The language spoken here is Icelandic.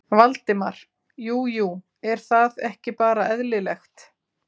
Valdimar: Jú jú, er það ekki bara eðlilegt?